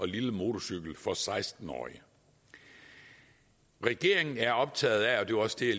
lille motorcykel for seksten årige regeringen er optaget af og det var også det